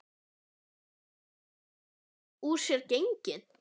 Eru þau strax úr sér gengin?